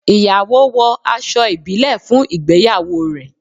Ìyàwó wo aṣọ ibile fún ìgbéyàwó rẹ